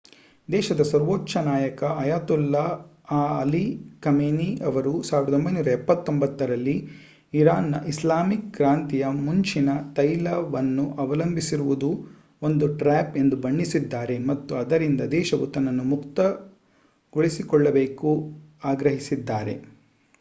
ದೇಶದ ಸರ್ವೋಚ್ಚ ನಾಯಕ ಅಯತೊಲ್ಲಾ ಅಲಿ ಖಮೇನಿ ಅವರು 1979 ರಲ್ಲಿ ಇರಾನ್‌ನ ಇಸ್ಲಾಮಿಕ್ ಕ್ರಾಂತಿಯ ಮುಂಚಿನ ತೈಲವನ್ನು ಅವಲಂಬಿಸಿರುವುದು ಒಂದು ಟ್ರ್ಯಾಪ್ ಎಂದು ಬಣ್ಣಿಸಿದ್ದಾರೆ ಮತ್ತು ಅದರಿಂದ ದೇಶವು ತನ್ನನ್ನು ಮುಕ್ತಗೊಳಿಸಿಕೊಳ್ಳಬೇಕು ಆಗ್ರಹಿಸಿದ್ದಾರೆ